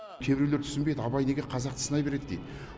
кейбіреулер түсінбейді абай неге қазақты сынай береді дейді